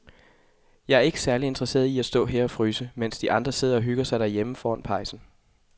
Jeg er ikke særlig interesseret i at stå og fryse her, mens de andre sidder og hygger sig derhjemme foran pejsen.